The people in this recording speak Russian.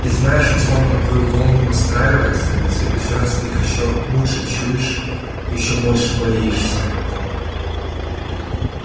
и знаешь они словно на твою волну настраиваются и в следующий раз ты их ещё лучше чуешь ещё больше боишься